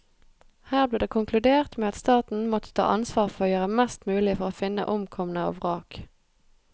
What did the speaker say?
Her ble det konkludert med at staten måtte ta ansvar for å gjøre mest mulig for å finne omkomne og vrak.